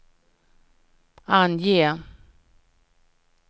ange